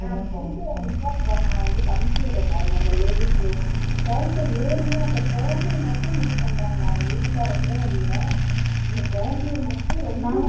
நான் இருந்தா நான் உங்களுக்கு அனுப்பி விடுறேன் பாருங்க அந்த ladies side ல ஏறியே அந்த குழந்தைய மட்டும் miss பண்றாங்க அவங்க வீட்டுக்காரரை கூட இல்ல இந்த குழந்தயை மட்டும் ரொம்ப